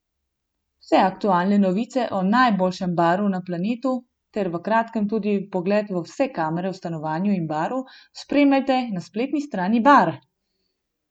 Vse aktualne novice o najboljšem Baru na planetu ter v kratkem tudi vpogled v vse kamere v stanovanju in baru spremljajte na spletni strani Bar!